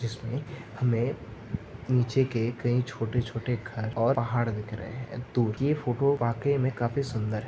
जिसमे हमें नीचे के कई छोटे-छोटे घर और पहाड़ दिख रहे है तो ये फोटो वाकई म काफी सुंदर है।